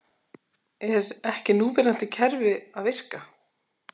Er ekki núverandi kerfi að virka?